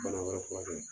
Bana wɛrɛ furakɛ